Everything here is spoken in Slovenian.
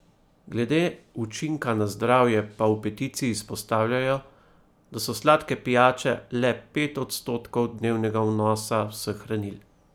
Glede učinka na zdravje pa v peticiji izpostavljajo, da so sladke pijače le pet odstotkov dnevnega vnosa vseh hranil.